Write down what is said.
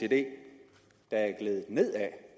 der er gledet ned ad